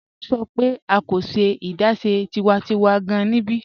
Mọ̀ n sọ̀ pẹ̀ a kò ṣẹ̀ adáṣẹ̀ tiwàntíwà gáàn níbí.